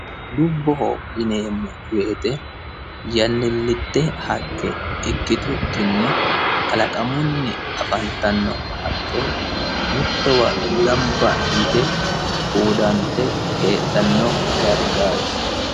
Dubboho yineemmo woyiite yannilitte haqqe ikkitukkini kalaqamunni afantanno haqqe mittowa ganba yite tuudante heedhano dargaati.